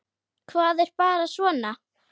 Það er bara svona.